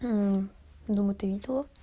думала ты видела